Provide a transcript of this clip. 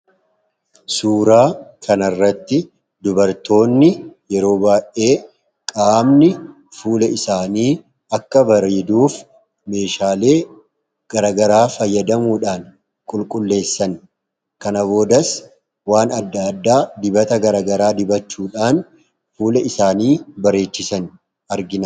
Suuraa kana irratti dubartoonni yeroo baayyee qaamni fuula isaanii akka bareeduuf Meeshaalee garaagaraa fayyadamuudhaan qululleessan kana boodas waan addaa addaa dibata garaagaraa dibachuudhaan fuula isaanii bareechatan argina.